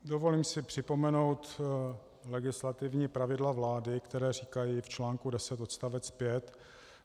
Dovolím si připomenout legislativní pravidla vlády, která říkají v článku 10 odst.